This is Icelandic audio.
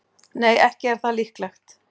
Nei, ekki er það líklegt.